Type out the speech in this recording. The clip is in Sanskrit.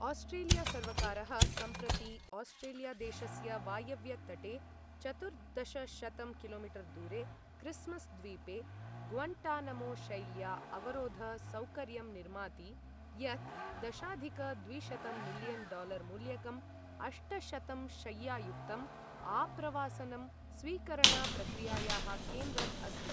आस्ट्रेलिया सर्वकारः सम्प्रति आस्ट्रेलिया देशस्य वायव्य तटे चतुर्दशशतं किलो मीटर् दूरे क्रिस्मस् द्वीपे ग्वन्टानमो शैल्या अवरोध सौकर्यम् निर्माति यत् दशाधिक द्विशतं मिलियन् डालार मूल्यकं, अष्टशतंशय्यायुक्तं आप्रवासनं स्वीकरण प्रक्रियायाः केन्द्रम् अस्ति।